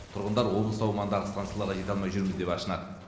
тұрғындар облыс аумағындағы стансаларға жете алмай жүрміз деп ашынады